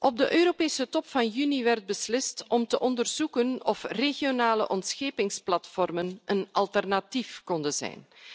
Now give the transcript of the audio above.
Op de Europese top van juni werd beslist om te onderzoeken of regionale ontschepingsplatformen een alternatief konden zijn.